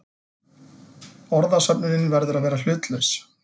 Orðasöfnunin verður að vera hlutlaus.